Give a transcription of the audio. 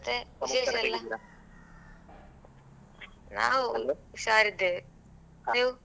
ಮತ್ತೆ ನಾವು ಹುಷಾರಿದ್ದೇವೆ, ನೀವು?